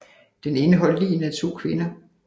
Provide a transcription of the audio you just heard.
Den indeholdt ligene af to kvinder